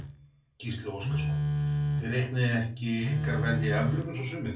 Gísli Óskarsson: Þið reiknið ekki ykkar verð í evrum eins og sumir?